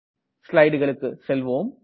ஸ்லைடுகளுக்கு செல்வோம்